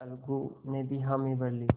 अलगू ने भी हामी भर ली